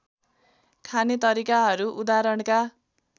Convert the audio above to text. खाने तरिकाहरू उदाहरणका